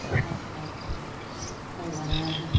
ਅੱਛਾ ਅੱਛਾ ਚੰਗਾ ਹੈਂ ਹੈਂ